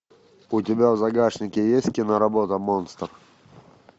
у тебя в загашнике есть киноработа монстр